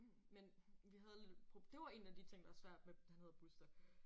Men vi havde lidt et det var en af de ting der var svært med han hedder Buster